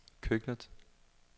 køkkenet